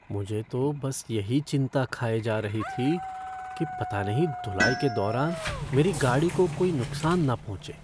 मुझे तो बस यही चिंता खाए जा रही थी कि पता नहीं धुलाई के दौरान मेरी गाड़ी को कोई नुकसान ना पहुँचे।